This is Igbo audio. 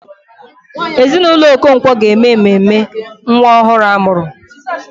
Ezinụlọ Okonkwo ga-eme mmemme nwa ọhụrụ a mụrụ.